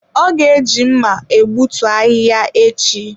O ga-eji mma egbutu ahihia echi.